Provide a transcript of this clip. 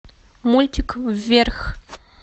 мультик вверх